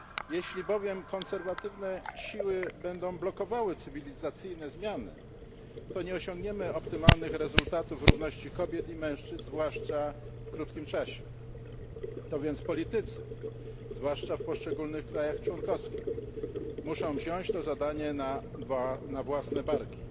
Jeśli bowiem konserwatywne siły będą blokowały cywilizacyjne zmiany, to nie osiągniemy optymalnych rezultatów równości kobiet i mężczyzn, zwłaszcza w krótkim czasie. To więc politycy, zwłaszcza w poszczególnych krajach członkowskich, muszą wziąć to zadanie na własne barki.